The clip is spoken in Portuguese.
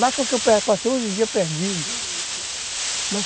Lá foi que eu passei passei uns dias perdido